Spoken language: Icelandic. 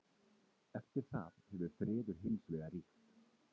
Eftir það hefur friður hins vegar ríkt.